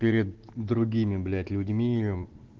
перед другими блять людьми